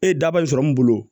E ye daba in sɔrɔ mun bolo